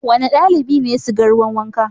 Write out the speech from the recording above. Wane ɗalibi ne ya siga ruwan wanka?